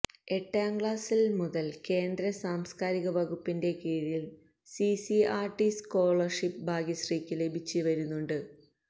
എട്ടാം ക്ലാസ്സ് മുതല് കേന്ദ്ര സാംസ്കാരിക വകുപ്പിന്റെ കീഴില് സിസിആര്ടി സ്കോ ളര്ഷിപ്പ് ഭാഗ്യശ്രീക്ക് ലഭിച്ച് വരുന്നുണ്ട്